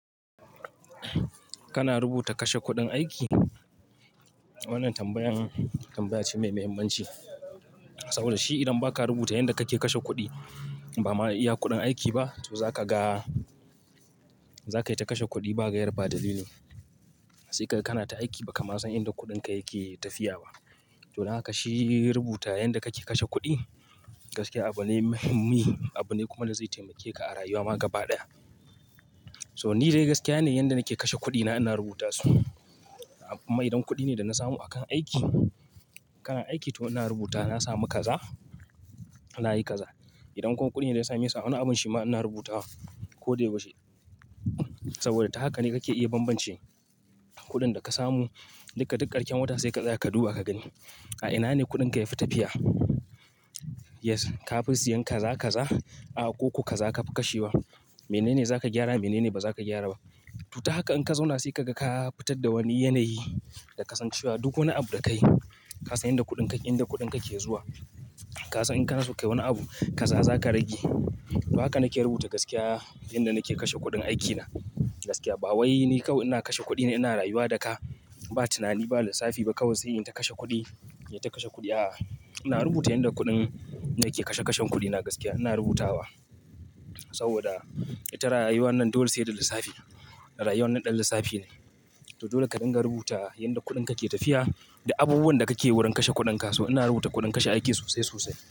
Kana rubuta kashe kuɗin aiki? Wannan tambayan tambaya ce mai mahimmanci. Saboda shi idan ba ka rubuta yanda kake kashe kuɗi ba ma iya kuɗin aiki ba. To za ka ga, za ka yi ta kashe kuɗi ba gaira ba dalili. Sai ga kana ta aiki ba kama san inda kuɗinka yake tafiya ba. To, dan haka shi rubuta yanda kake kashe kuɗi gaskiya abu ne muhimmi, abu ne kuma da zai taimake ka a rayuwa ma gaba ɗaya. So ni dai gaskiya ne yanda nake kashe kuɗina ina rubuta su. Kuma idan kuɗi ne da na samu a kan aiki, kana aiki to ina rubuta na samu kaza na yi kaza. Idan kuma kuɗi ne da ya sami sa wani abun shima ina rubuta wa ko da yau shi. Saboda ta haka ne kake iya bambance kuɗin da ka samu duka duk karshen wata sai ka tsaya ka duba ka gani. A ina ne kuɗinka ya fi tafiya? Yes, ka fi siyan kaza kaza, a akuku kaza ka fi kashe wa. Mene ne za ka gyara? Mene ne ba za ka gyara ba? To ta haka in ka zauna sai kaga ka fitar da wani yanayi da kasancewa. Duk wani abu da ka yi, ka san yadda kuɗinka, inda kuɗinka ke zuwa. Ka san in ka nasu kayi wani abu kaza zaka rage. Ta haka nake rubuta gaskiya yanda nake kashe kuɗin aikina. Gaskiya ba wai ni kawai ina kashe kuɗi ina rayuwa daka ba tunani ba lissafi ba kawai sai in ta kashe kuɗi, inyi ta kashe kuɗi. A'a, ina rubuta yanda kuɗin nake kashe kashen kuɗina gaskiya ina rubuta wa. Saboda ita rayuwan dole sai da lissafi. Rayuwan nan ɗan lissafi ne. To dole ka dinga rubuta yanda kuɗinka ke tafiya da abubuwan da kake wurin kashe kuɗinka. So ina rubuta kuɗin kashe aiki sosai sosai.